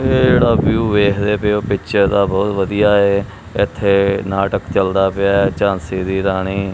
ਇਹ ਜਿਹੜਾ ਵਿਊ ਵੇਖਦੇ ਪਏ ਔ ਪਿੱਚਰ ਦਾ ਬਹੁਤ ਵਧੀਆ ਐ ਇੱਥੇ ਨਾਟਕ ਚਲਦਾ ਪਿਆ ਐ ਝਾਂਸੀ ਦੀ ਰਾਣੀ।